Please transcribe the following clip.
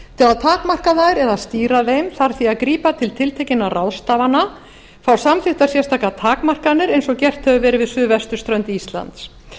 að takmarka þær eða stýra þeim þarf því að grípa til tiltekinna ráðstafana fá samþykktar sérstakar takmarkanir eins og gert hefur verið við suðvesturströnd íslands